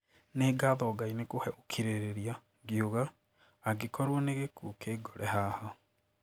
Nĩ ngatho Ngai nĩ kũhe ũkirĩrĩria, ngĩuga "angĩkorwo nĩ gĩkuũ kĩngore haha".